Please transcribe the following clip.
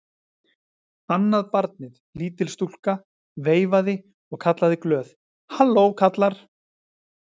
Annað barnið, lítil stúlka, veifaði og kallaði glöð:-Halló kallar!